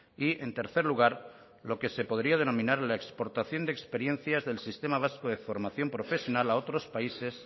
y en tercer lugar lo que se podría denominar la exportación de experiencias del sistema vasco de formación profesional a otros países